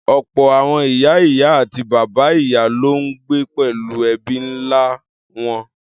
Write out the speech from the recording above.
Ọ̀pọ̀ àwọn ìyá-ìyá àti bàbá-ìyá ló ń gbé pẹ̀lú ẹbí ńlá wọn.